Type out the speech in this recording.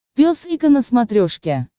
пес и ко на смотрешке